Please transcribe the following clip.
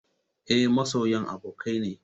Eh, masoyan abokai ne